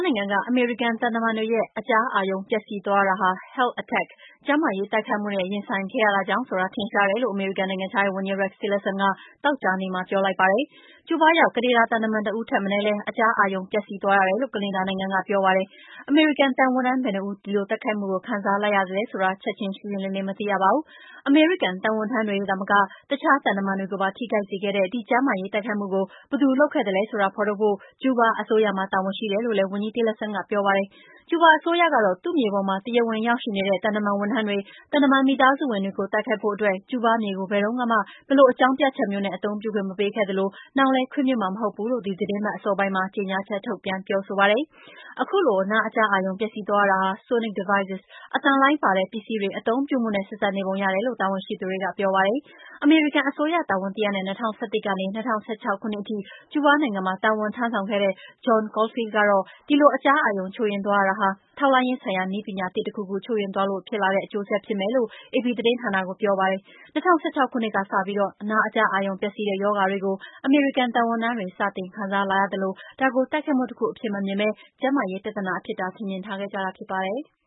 နိုင်ငံက အမေရိကန်သံတမန်တွေရဲ့ အကြားအာရုံပျက်စီးသွားရတာဟာ "Health Attack" ကျန်းမာရေး ထိခိုက်အောင် တိုက်ခိုက်တာနဲ့ရင်ဆိုင်ခဲ့ရတာကြောင့်ဖြစ်တယ်ဆိုတာ ထင်ရှားတယ်လို့ အမေရိကန်နိုင်ငံခြားရေးဝန်ကြီး Rex Tillerson ကသောကြာနေ့မှာ ပြောလိုက်ပါတယ်။ ကျူးဘာရောက် ကနေဒါ သံတမန်တဦးထက်မနည်းလည်း အကြားအာရုံပျက်စီးသွားတယ်လို့ ကနေဒါနိုင်ငံက ပြောပါတယ်။ အမေရိကန်သံဝန်ထမ်း ဘယ်နှစ်ဦး ဒီတိုက်ခိုက်မှုကို ခံစားလိုက်ရသလဲဆိုတာ ချက်ချင်းရှင်းရှင်းလင်းလင်း မသိရပါဘူး။ အမေရိကန် သံဝန်ထမ်းတွေသာမက အခြား သံတမန်တွေကိုပါ ထိခိုက်စေခဲ့တဲ့ ဒီလို ကျန်းမာရေး ထိခိုက်အောင် တိုက်ခိုက်တာကို ဘယ်သူလုပ်ခဲ့သလဲဆိုတာ ဖော်ထုတ်ဖို့ ကျူးဘားအစိုးရမှာ တာဝန်ရှိတယ်လို့လည်းဝန်ကြီး Tillerson ကပြောပါတယ်။ ကျူးဘားအစိုးရကတော့ သူ့မြေပေါ် တရားဝင်ရောက်ရှိနေတဲ့ သံတမန်ဝန်ထမ်းတွေ၊ သံတမန် မိသားစုဝင်တွေကို တိုက်ခိုက်ဖို့အတွက် ကျူးဘားမြေကို ဘယ်လိုအကြောင်းပြချက်မျိုးနဲ့ မှအသုံးပြုခွင့််မပေးခဲ့သလို၊နောင်လဲခွင့်ပြုမှာမဟုတ်ဘူးလို့ ဒီသီတင်းပတ်အစောပိုင်းမှာ ကြေငြာချက်ထုတ်ပြန်ပြောဆိုပါတယ်။ ခုလို အကြားအာရုံ ပျက်စီးသွားတာဟာ အသံလှိုင်းပါတဲ့ ပစ္စည်း Sonic devices တွေ အသုံးပြုမှုနဲ့ ဆက်စပ်နေပုံရတယ်လို့ တာဝန်ရှိသူတွေက ပြောပါတယ်။ အမေရိကန်အစိုးရတာဝန်တရပ်နဲ့ ၂၀၁၁ ကနေ ၂၀၁၆ ခုနှစ်ထိ ကျူးဘားနိုင်ငံမှာ တာဝန်ထမ်းဆောင်ခဲ့တဲ့ John Caulfield ကတော့ ဒီလိုအကြားအာရုံချို့ယွင်းသွားရတာဟာ ထောက်လှမ်းရေးဆိုင်ရာနည်းပညာသစ် တခုခု ချို့ယွင်းသွားလို့ ဖြစ်လာတဲ့ အကျိုးဆက်ဖြစ်နိုင်တယ်လို့ AP သတင်းဌာနကိုပြောပါတယ်။ ၂၀၁၆ ခုနှစ်ကစပြီး အကြားအာရုံပျက်စီးတဲ့ရောဂါတွေကို အမေရိကန် သံဝန်ထမ်းတွေ စတင်ခံစားလာရသလို ဒါကို တိုက်ခိုက်မှုတခုအဖြစ်မမြင်ပဲ ကျန်းမာရေးချို့ယွင်းမှုအဖြစ် ထင်မြင်ထားခဲ့ကြတာဖြစ်ပါတယ်။